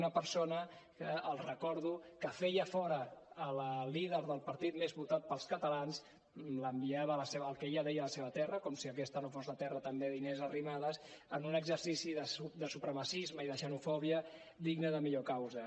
una persona que els recordo que feia fora la líder del partit més votat pels catalans l’enviava al que ella en deia la seva terra com si aquesta no fos la terra també d’inés arrimadas en un exercici de supremacisme i de xenofòbia digne de millor causa